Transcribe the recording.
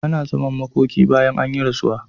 Ana zaman makoki bayan an yi rasuwa.